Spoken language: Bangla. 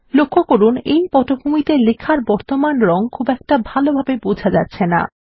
লক্ষ্য করুন এই পটভূমিতে লেখার বর্তমান রং খুব ভালভাবে বোঝা যাচ্ছেনা